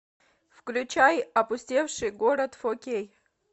включай опустевший город фо кей